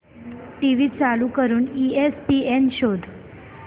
TV चालू करून ESPN शोध